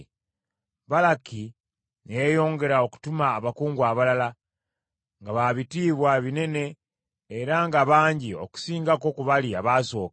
Balaki ne yeeyongera okutuma abakungu abalala, nga baabitiibwa binene era nga bangi okusingako ku bali abaasooka.